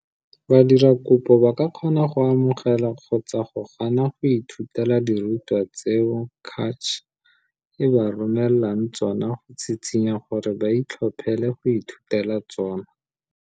Badiradikopo ba ka kgona go amogela kgotsa go gana go ithutela dirutwa tseo CACH e ba romelang tsona go tshitshinya gore ba itlhophele go ithutela tsona.